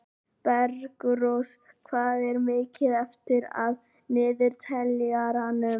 Bergrós, hvað er mikið eftir af niðurteljaranum?